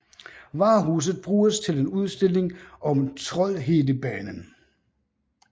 Varehuset bruges til en udstilling om Troldhedebanen